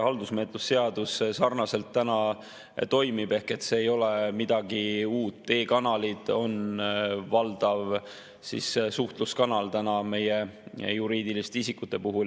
Haldusmenetluse seadus sarnaselt juba toimib ehk see ei ole midagi uut, e‑kanalid on valdav suhtluskanal meie juriidiliste isikute puhul.